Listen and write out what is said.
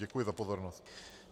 Děkuji za pozornost.